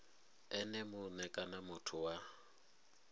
ene mue kana muthu wa